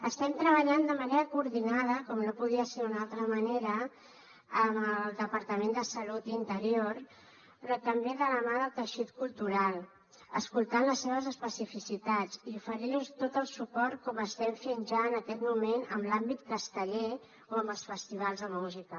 estem treballant de manera coordinada com no podia ser d’una altra manera amb el departament de salut i interior però també de la mà del teixit cultural escoltant les seves especificitats i oferint los tot el suport com estem fent ja en aquest moment en l’àmbit casteller o amb els festivals de música